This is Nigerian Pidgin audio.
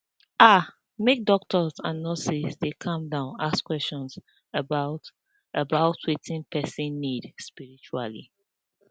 ah make doctors and nurses dey calm down ask question about about wetin person need spritually